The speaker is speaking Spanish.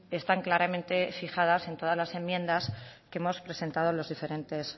están claramente fijadas en todas las enmiendas que hemos presentado los diferentes